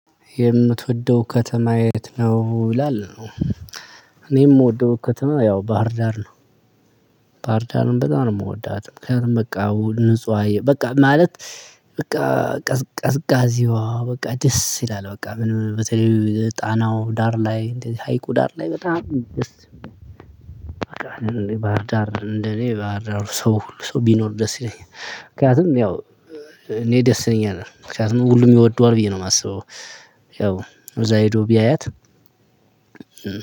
የምትወደው ከተማ የት ነው? ይላል እኔ የምወደው ከተማ ያው ባህርዳር ነው በጣም ነው የምወዳት ምክንያቱም በቃ ንጹህ አየ በቃ ማለት በቃ ቀዝቃዚዋ በቃ ደስ ይላል በቃ ምን በተለይ ጣናው ዳር ላይ እንደዚህ ሀይቁ ዳር ላይ በጣም ባህር ዳር እንደኔ ባህር ዳር ሰው ሁሉ ሰው ቢኖር ደስ ይለኛል ምክንያቱም ያው እኔ ደስ ይለኛል ምክንያቱም ሁሉም ይወደዋል ብዬ ነው የማስበው። ያው እዛ ሂዶ ቢያያት